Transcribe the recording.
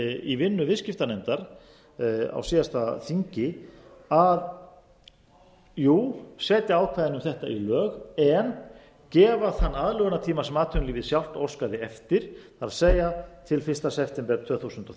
í vinnu viðskitpanefnar á síðasta þingi að setja ákvæðin um þetta í lög en gefa þann aðlögunartíma sem atvinnulífið sjálft óskaði eftir það er til fyrsta september tvö þúsund og